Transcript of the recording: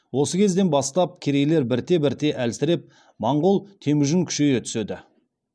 осы кезден бастап керейлер бірте бірте әлсіреп монғол темүжін күшейе түседі